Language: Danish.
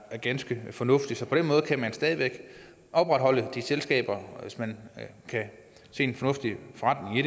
ganske fornuftigt så på den måde kan man stadig væk opretholde de selskaber hvis man kan se en fornuftig forretning i